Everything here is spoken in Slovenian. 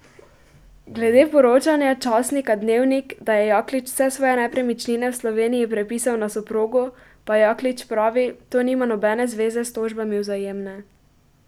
Glede poročanja časnika Dnevnik, da je Jaklič vse svoje nepremičnine v Sloveniji prepisal na soprogo, pa Jaklič pravi, to nima nobene zveze s tožbami Vzajemne.